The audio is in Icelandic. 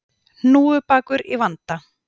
Hnúfubakur í vanda